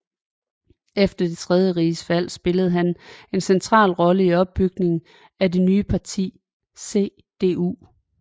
Efter det tredje riges fald spillede han en central rolle i opbygningen af det nye parti CDU